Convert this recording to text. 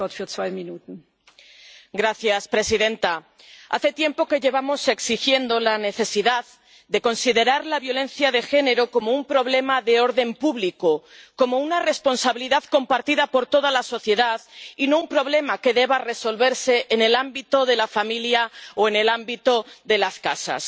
Señora presidenta, hace tiempo que llevamos exigiendo la necesidad de considerar la violencia de género como un problema de orden público, como una responsabilidad compartida por toda la sociedad, y no un problema que deba resolverse en el ámbito de la familia o en el ámbito de las casas.